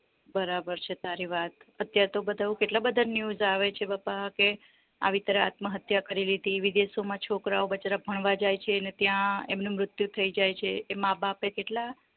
બરાબર છે તારી વાત અત્યારે તો બધા કેટલા બધા news આવે છે બાપા કે આવી તરહ આત્મહત્યા કરી લીધી વિદેશો માં છોકરા ઓ બચારા ભણવા જાય છે ને ત્યાં એમને મૃત્યુ થય જાય છે એ માં બાપ એ કેટલા